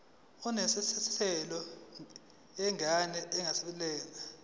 nesemthethweni yengane engeyabanye